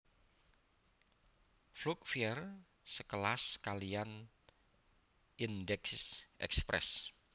Vlugge Vier sekelas kaliyan Eendaagsche Express